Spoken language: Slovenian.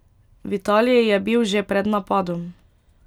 V Italiji je bil že pred napadom.